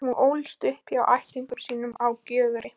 Hún ólst upp hjá ættingjum sínum á Gjögri.